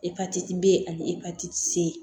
Epatiti b ani epatiti ye